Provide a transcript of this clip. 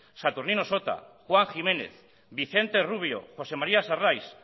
saturnino sota juan jiménez vicente rubio josé maría sarrais